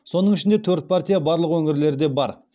соның ішінде төрт партия барлық өңірлерде бар